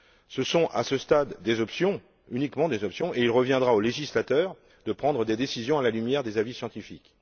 Ce ne sont, à ce stade, que des options et il reviendra au législateur de prendre des décisions à la lumière des avis scientifiques.